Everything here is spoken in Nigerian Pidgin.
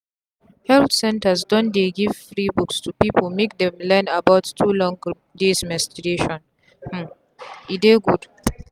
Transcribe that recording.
health centre don dey give free books to people make them learn about too long days menstruation um e dey good.